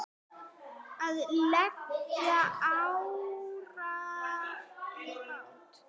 Að leggja árar í bát?